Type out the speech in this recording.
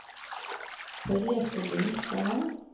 Therese Lindstad